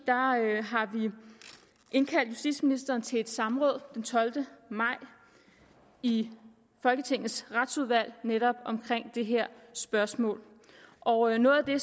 indkaldt justitsministeren til et samråd den tolvte maj i folketingets retsudvalg netop om det her spørgsmål og noget af det